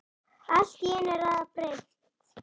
Allt í einu er allt breytt.